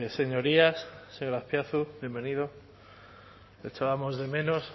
señorías señor azpiazu bienvenido le echábamos de menos